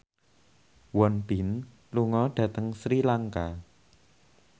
Won Bin lunga dhateng Sri Lanka